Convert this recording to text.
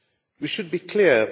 We should be clear.